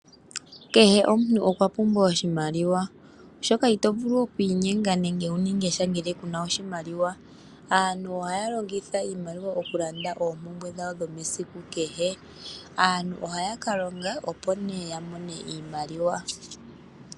Kehe omuntu okwa pumbwa oshimaliwa, oshoka ito vulu okwiinyenga nenge wuninge sha ngele kuna oshimaliwa. Aantu ohaya longitha iimaliwa okulanda oompumbwe dhowo dhomesiku kehe. Aantu ohaya kalonga opo nee yamone iimaliwa.